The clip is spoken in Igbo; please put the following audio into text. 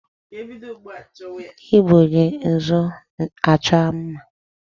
Ndị Igbo ji nzụ achọ mma